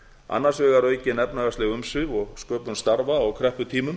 annars vegar aukin efnahagsleg umsvif og sköpun starfa á krepputímum